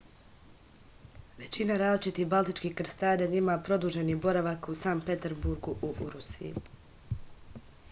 većina različitih baltičkih krstarenja ima produženi boravak u sankt peterburgu u rusiji